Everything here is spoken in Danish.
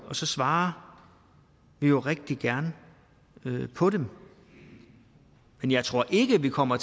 og så svarer vi jo rigtig gerne på dem men jeg tror ikke vi kommer